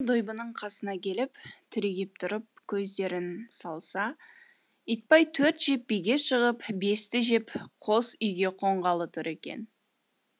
екеуі дойбының қасына келіп түрегеп тұрып көздерін салса итбай төрт жеп биге шығып бесті жеп қос үйге қонғалы тұр екен